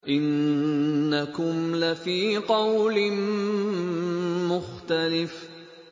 إِنَّكُمْ لَفِي قَوْلٍ مُّخْتَلِفٍ